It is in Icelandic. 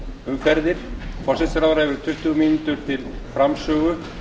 umferðir forsætisráðherra hefur tuttugu mínútur til framsögu